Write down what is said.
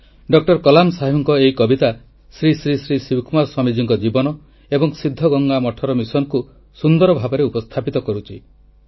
ଡ କଲାମ୍ ସାହେବଙ୍କ ଏହି କବିତା ଶ୍ରୀ ଶ୍ରୀ ଶ୍ରୀ ଶିବକୁମାର ସ୍ୱାମୀଜୀଙ୍କ ଜୀବନ ଏବଂ ସିଦ୍ଧଗଙ୍ଗା ମଠର ମିଶନକୁ ସୁନ୍ଦର ଭାବରେ ଉପସ୍ଥାପିତ କରୁଛି